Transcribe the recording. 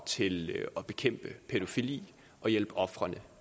til at bekæmpe pædofili og hjælpe ofrene